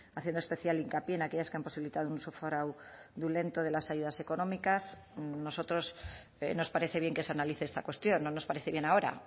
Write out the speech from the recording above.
haciendo especial hincapié en aquellas que han posibilitado un de las ayudas económicas a nosotros nos parece bien que se analice esta cuestión no nos parece bien ahora